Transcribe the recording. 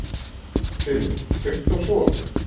Dilja, kveiktu á sjónvarpinu.